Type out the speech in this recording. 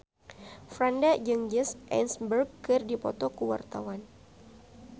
Franda jeung Jesse Eisenberg keur dipoto ku wartawan